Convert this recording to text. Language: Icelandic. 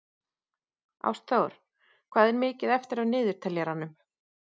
Ástþór, hvað er mikið eftir af niðurteljaranum?